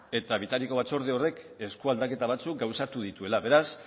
eta bitariko batzorde horrek eskualdaketa batzuk gauzatu dituela beraz